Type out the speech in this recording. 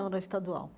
Não, era estadual.